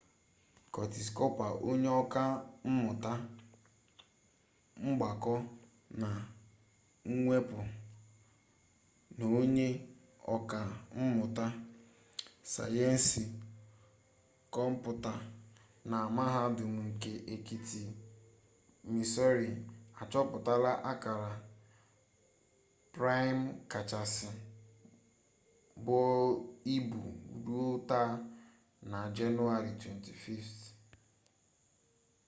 curtis cooper onye ọka mmụta mgbakọ na mwepụ na onye ọka mmụta sayensị kọmputa na mahadum nke etiti missouri achọpụtala akara praịm kachasị buo ibu ruo ta na jenụwarị 25